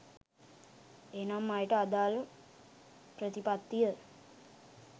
එනම්, එයට අදාළ ප්‍රතිපත්තිය